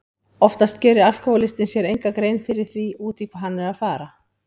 Oftast gerir alkohólistinn sér enga grein fyrir því út í hvað hann er að fara.